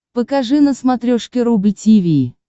покажи на смотрешке рубль ти ви